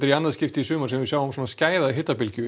í annað skipti í sumar sem við sjáum svona skæða hitabylgju